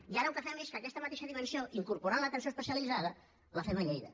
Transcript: i ara el que fem és que aquesta mateixa dimensió incorporant l’atenció especialitzada la fem a lleida